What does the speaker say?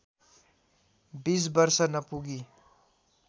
२० वर्ष नपुगी